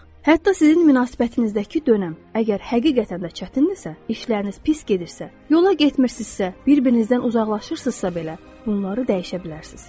Hətta sizin münasibətinizdəki dönəm əgər həqiqətən də çətindirsə, işləriniz pis gedirsə, yola getmirsizsə, bir-birinizdən uzaqlaşırsızsa belə, bunları dəyişə bilərsiz.